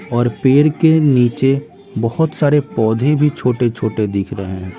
और पेड़ के नीचे बहुत सारे पौधे भी छोटे-छोटे दिख रहे हैं।